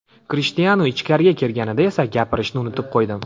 Krishtianu ichkariga kirganida esa gapirishni unutib qo‘ydim.